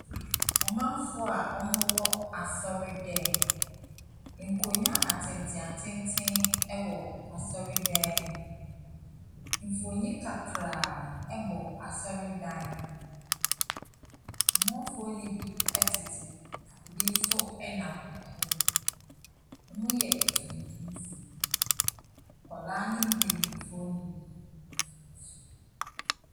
Amanfoɔ a ɔmo wɔ asɔre dɛm. Nkonwa atenten atenten ɛwɔ asɔre dɛm. Mfonyin kakraa ɛbɔ asɔre dan no mu. Amanfoɔ ne bi ɛtete hɔ na ebi so ɛnam ɛhɔ nom. Ɔmo yɛ etuntum foɔ. Nkwaalaa ne mpanyinfoɔ nyina ɛfrafra.